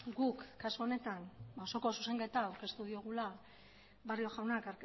guk kasu honetan osoko zuzenketa aurkeztu diogula barrio jaunak